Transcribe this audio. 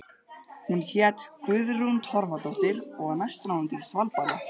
Hún hét Guðrún Torfadóttir og var næstráðandi í Svalbarða.